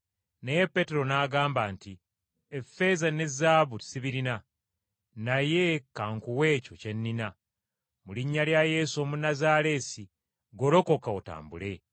Naye Peetero n’agamba nti, “Effeeza ne zaabu sibirina, naye ka nkuwe ekyo kye nnina. Mu linnya lya Yesu Omunnazaaleesi Golokoka, otambule!”